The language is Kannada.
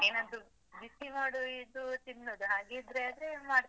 ಏನಾದ್ರು ಬಿಸಿ ಮಾಡುವ ಇದು ತಿನ್ನುದು, ಹಾಗಿದ್ರೆ ಆದ್ರೆ ಮಾಡ್ತೇನೆ.